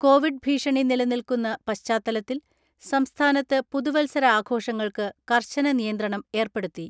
Covid ഭീഷണി നിലനിൽക്കുന്ന പശ്ചാത്തലത്തിൽ സംസ്ഥാനത്ത് പുതുവത്സര ആഘോഷങ്ങൾക്ക് കർശന നിയന്ത ണം ഏർപ്പെടുത്തി.